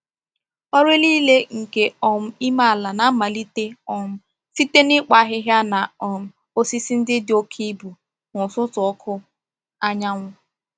Ọrụ niile nke um ime ala na-amalite um site n’ịkpụ ahịhịa na um osisi ndị dị oke ibu n’ụtụtụ ọkụ anyanwụ.